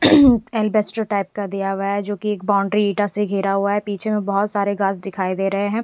अल्बेस्टर type का दिया हुआ है जो की एक बाउंड्री ईटा से घेरा हुआ है पीछे में बहोत सारे घास दिखाई दे रहे हैं।